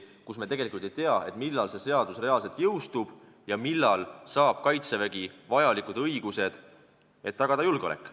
Me siis tegelikult ei tea, millal see seadus reaalselt jõustub ja millal saab Kaitsevägi vajalikud õigused, et tagada julgeolek.